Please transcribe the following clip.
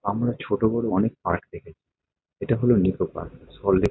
আমরা ছোট-বড় অনেক পার্ক দেখেছি। এটা হলো নিকো পার্ক সল্ট লেক --